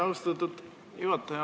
Austatud juhataja!